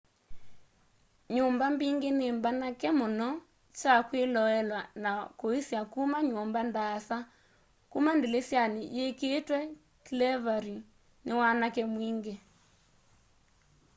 nyumba mbingi ni mbanake muno kya kwiloelwaa na kuisya kuma nyumba ndaasa kuma ndilisyani yikiitwe clevery ni wanake mwingi